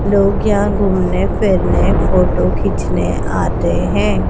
लोग यहां घूमने फिरने फोटो खींचने आते हैं।